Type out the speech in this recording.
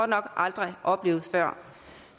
nok aldrig oplevet før